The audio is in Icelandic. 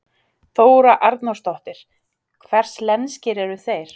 Þóra Arnórsdóttir: Hvers lenskir eru þeir?